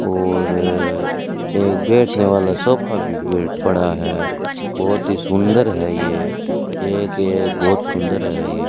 और एक बैठने वाला सोफा भी बेड पड़ा है बहुत ही सुंदर है ये एक ये बहुत सुंदर है ये।